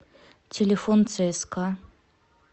телефон цска